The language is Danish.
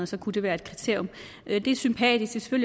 så kunne det være et kriterium det er sympatisk og